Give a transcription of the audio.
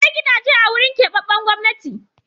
Akwai gidaje a wurin keɓaɓɓen Gwamnati.